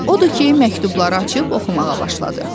Odur ki, məktubları açıb oxumağa başladı.